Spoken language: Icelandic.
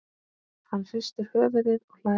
Hann hristir höfuðið og hlær.